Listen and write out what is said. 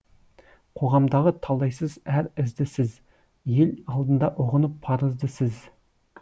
қоғамдағы талдайсыз әр ізді сіз ел алдында ұғынып парызды сіз